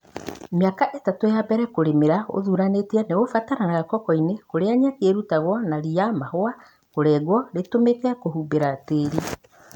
Mĩaka ĩtatũ ya mbele kũrĩmĩra ũthuranĩtie nĩgũbataranĩkaga kokoinĩ kũrĩa nyeki ĩrutagwo na rĩa mahũa kũrengwo ritũmĩke kũhumbĩra tĩri.